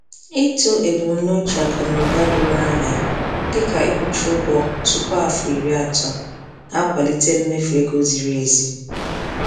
Ịtọ ebumnuche akụ na ụba doro anya, dịka ịkwụchaa ụgwọ tupu afọ iri atọ, na-akwalite mmefu ego ziri ezi.